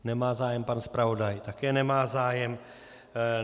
Nemá zájem, pan zpravodaj také nemá zájem.